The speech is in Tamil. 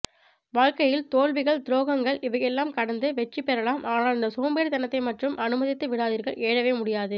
வாழ்கையில் தோல்விகள் துரோங்கள் இவையெல்லாம் கடந்து வெற்றி பெறலாம் ஆனால் இந்த சோம்பேறித்தனத்தை மட்டும் அனுமதித்து விடாதிர்கள் எழவே முடியாது